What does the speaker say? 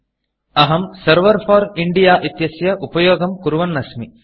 अहं server for Indiaसर्वर् for India इत्यस्य उपयोगं कुर्वन् अस्मि